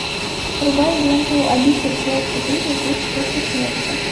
врубай ленту обитель зла четыре жизнь после смерти